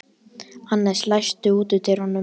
Annes, læstu útidyrunum.